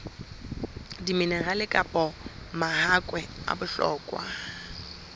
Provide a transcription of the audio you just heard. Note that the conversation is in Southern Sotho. diminerale kapa mahakwe a bohlokwa